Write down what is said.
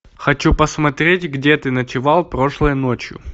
хочу посмотреть где ты ночевал прошлой ночью